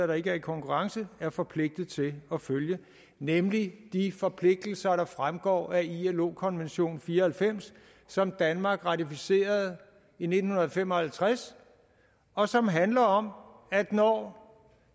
der ikke er i konkurrence er forpligtet til at følge nemlig de forpligtelser der fremgår af ilo konvention fire og halvfems som danmark ratificerede i nitten fem og halvtreds og som handler om at når